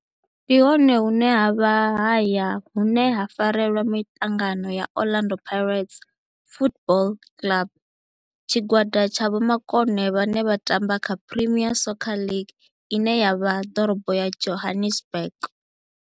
Ndi hone hune havha haya hune ha farelwa hone mitangano ya Orlando Pirates Football Club. Tshigwada tsha vhomakone vhane vha tamba kha Premier Soccer League ine ya vha Dorobo ya Johannesburg.